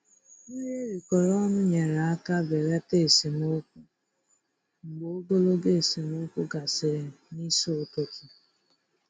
Nri erikọrọ ọnụ nyere aka belata esemokwu mgbe ogologo esemokwu gasịrị n'isi ụtụtụ.